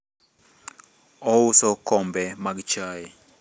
ouso okombe mag chaye